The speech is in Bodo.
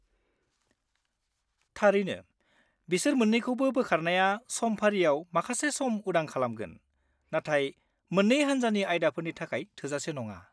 थारैनो, बिसोर मोन्नैखौबो बोखारनाया समफारिआव माखासे सम उदां खालामगोन, नाथाय मोन्नै हान्जानि आयदाफोरनि थाखाय थोजासे नङा।